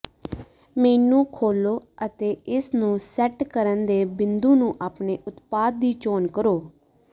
ਮੇਨੂ ਖੋਲੋ ਅਤੇ ਇਸ ਨੂੰ ਸੈੱਟ ਕਰਨ ਦੇ ਬਿੰਦੂ ਨੂੰ ਆਪਣੇ ਉਤਪਾਦ ਦੀ ਚੋਣ ਕਰੋ